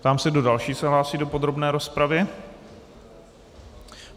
Ptám se, kdo další se hlásí do podrobné rozpravy.